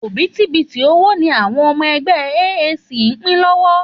Òbítíbitì owó ni àwọn ọmọ ẹgbẹ́ AAC ń pín lọ́wọ́.